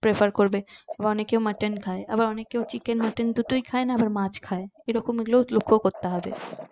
prefer করবে আবার অনেকে mutton খাই আবার অনেকে chicken mutton দুটোই খাইনা মাছ খাই সেরকম গুলো ও লক্ষ্য করতে হবে